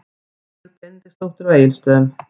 Málfríður Benediktsdóttir á Egilsstöðum